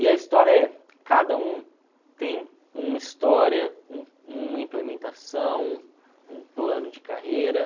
E a história é, cada um tem uma história, um uma implementação, um plano de carreira.